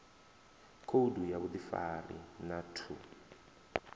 khoudu ya vhuḓifari na ṱhu